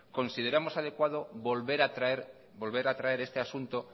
consideramos adecuado volver a traer este asunto